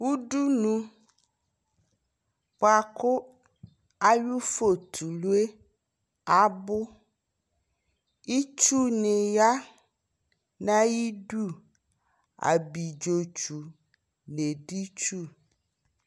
Udunu buaku ayʋ fotulue abuItsu ni ya na yi du Abidzo tsu nɛ di tsu